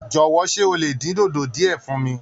Jọ̀wọ́, ṣé o lè dín dòdò díẹ̀ fún mi?